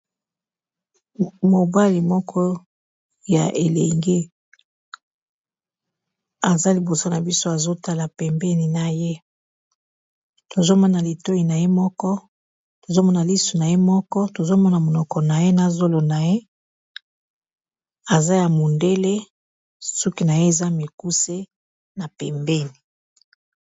mobali moko ya elenge aza liboso na biso azotala pembeni na ye tozomona litoi na ye moko tozomona lisu na ye moko tozomona monoko na ye nazolo na ye aza ya mondele suki na ye eza mikuse na pembeni